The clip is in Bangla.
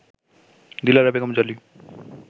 দিলারা বেগম জলি